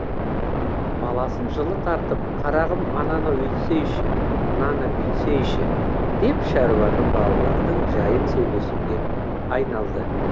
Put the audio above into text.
баласын жылы тартып қарағым ананы өйтсейші мынаны бүйтсейші деп шаруаның балалардың жайын сөйлесуге айналды